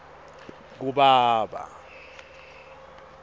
kubaba